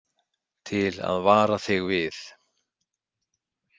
Til að vara þig við.